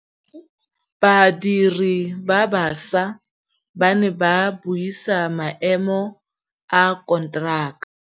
Badiri ba baša ba ne ba buisa maêmô a konteraka.